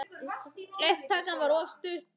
Það var allt og sumt, sagði Daði upphátt.